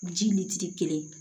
Ji mitiri kelen